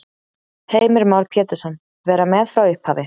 Heimir Már Pétursson: Vera með frá upphafi?